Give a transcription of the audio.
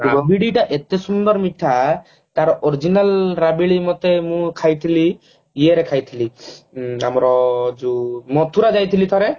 ରାବିଡି ଟା ଏତେ ସୁନ୍ଦର ହେଇଥାଏ ତାର original ରାବିଡି ମତେ ମୁଁ ଖାଇଥିଲି ଇଏରେ ଖାଇଥିଲି ଉଁ ଆମର ଯୋଉ ମଥୁରା ଯାଇଥିଲି